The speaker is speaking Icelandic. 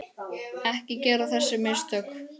Ekki gera þessi mistök.